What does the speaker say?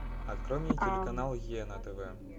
открой мне телеканал е на тв